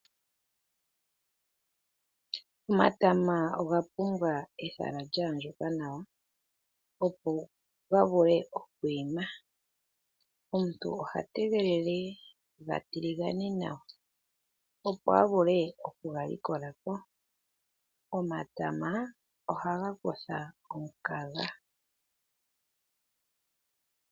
Omatama oga pumbwa ehala lya andjuka nawa, opo ga vule okwiima. Omuntu oha tegelele ga tiligane nawa, opo avule okuga likolako. Omatama ohaga kuthapo omukaga.